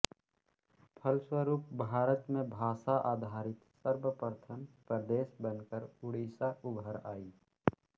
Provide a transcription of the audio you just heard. फलस्वरूप भारत में भाषा आधारित सर्वप्रथम प्रदेश बनकर ओड़िसा उभर आयी